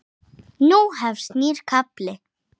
Nú hefst nýr kafli.